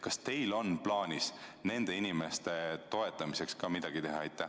Kas teil on plaanis nende inimeste toetamiseks midagi teha?